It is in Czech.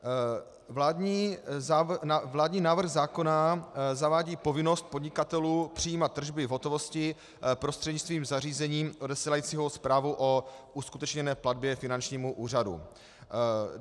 Vládní návrh zákona zavádí povinnost podnikatelů přijímat tržby v hotovosti prostřednictvím zařízení odesílajícího zprávu o uskutečněné platbě finančnímu úřadu.